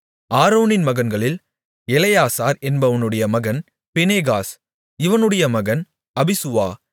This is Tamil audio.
ஆரோனின் மகன்களில் எலெயாசார் என்பவனுடைய மகன் பினேகாஸ் இவனுடைய மகன் அபிசுவா